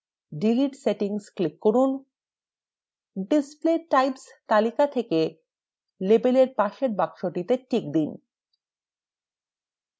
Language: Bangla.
display settings এ click করুন: display types তালিকা থেকে label এর পাশের বক্সটিতে click দিন